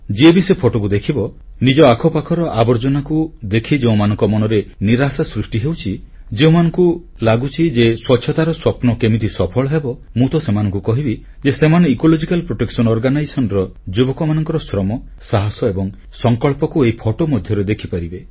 ଯିଏବି ସେ ଫଟୋକୁ ଦେଖିବ ନିଜ ଆଖ ପାଖର ଆବର୍ଜନାକୁ ଦେଖି ଯେଉଁମାନଙ୍କ ମନରେ ନିରାଶା ସୃଷ୍ଟି ହେଉଛି ଯେଉଁମାନଙ୍କୁ ଲାଗୁଛି ଯେ ସ୍ୱଚ୍ଛତାର ସ୍ୱପ୍ନ କେମିତି ସଫଳ ହେବ ମୁଁ ତ ସେମାନଙ୍କୁ କହିବି ଯେ ସେମାନେ ଇକୋଲୋଜିକାଲ ପ୍ରୋଟେକସନ ଅର୍ଗାନାଇଜେସନ ର ଯୁବକମାନଙ୍କର ଶ୍ରମ ସାହସ ଏବଂ ସଂକଳ୍ପକୁ ଏହି ଫଟୋ ମଧ୍ୟରେ ଦେଖିପାରିବେ